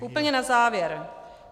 Úplně na závěr.